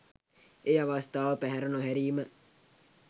ඒ අවස්ථාව පැහැර නොහැරීම